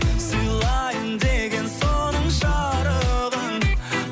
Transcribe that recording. сыйлайын деген соның жарығын